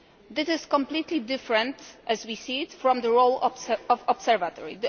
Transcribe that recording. This is completely different, as we see it, from the role of the Observatory.